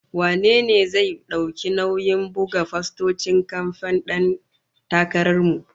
Wane ne zai dauki nauyin buga fostocin kamfen din Dan Takarar mu?